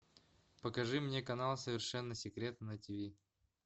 покажи мне канал совершенно секретно на тиви